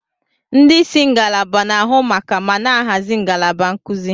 Ndị isi ngalaba na-ahụ maka ma na-ahazi ngalaba nkuzi.